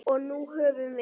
Og nú höfum við